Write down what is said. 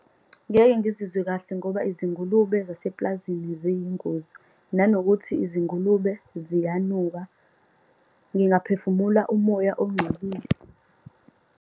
Ngeke ngizizwe kahle ngoba izingulube zasepulazini ziyingozi, nanokuthi izingulube ziyanuka. Ngingaphezu phefumula umoya ongcolile.